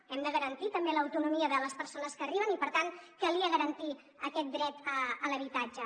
hem de garantir també l’autonomia de les persones que arriben i per tant calia garantir aquest dret a l’habitatge